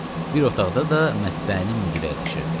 Bir otaqda da mətbəənin müdiri əyləşirdi.